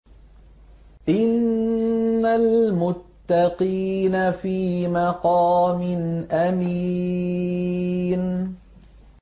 إِنَّ الْمُتَّقِينَ فِي مَقَامٍ أَمِينٍ